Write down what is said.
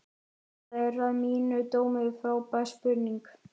Þetta er að mínum dómi frábær spurning.